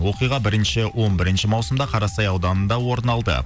оқиға он бірінші маусымда қарасай ауданында орын алды